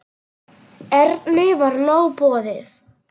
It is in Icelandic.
Erni var nóg boðið.